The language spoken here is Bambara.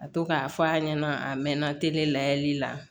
Ka to k'a fɔ a ɲɛna a mɛɛnna layɛli la